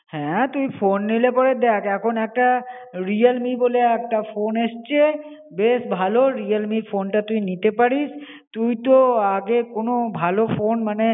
হ্যাঁ তুই ফোন নিলে পরে, দেখ এখন একটা Realme বলে একটা ফোন এসছে, বেশ ভালো Realme এর ফোনটা তুই নিতে পারিস. তুই তো আগে কোনো ভালো ফোন মনে যেটা এখন